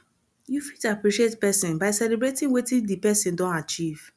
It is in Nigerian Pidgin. you fit appreciate person by celebrating wetin di person don achieve